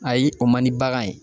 Ayi o man di bagan ye